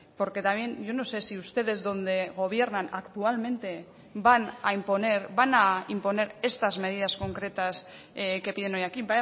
porque también yo no sé si ustedes donde gobiernan actualmente van a imponer van a imponer estas medidas concretas que piden hoy aquí